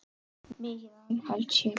Mikils aðhalds sé gætt.